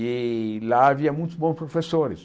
E lá havia muitos bons professores.